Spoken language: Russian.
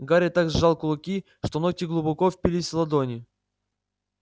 гарри так сжал кулаки что ногти глубоко впились в ладони